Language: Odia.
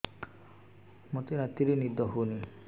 ମୋତେ ରାତିରେ ନିଦ ହେଉନି